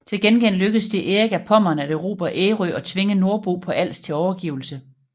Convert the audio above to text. Til gengæld lykkedes det Erik af Pommern at erobre Ærø og tvinge Nordborg på Als til overgivelse